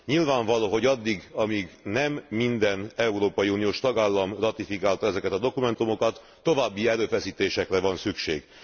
Nyilvánvaló, hogy addig, amíg nem minden európai uniós tagállam ratifikálta ezeket a dokumentumokat, további erőfeszítésekre van szükség.